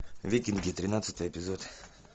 викинги тринадцатый эпизод